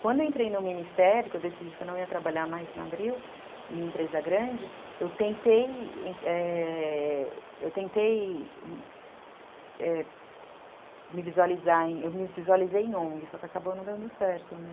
Quando eu entrei no Ministério, que eu decidi que eu não ia trabalhar mais na Abril, em empresa grande, eu tentei... é... me visualizar, eu me eu visualizei em ongue, só que acabou não dando certo, né?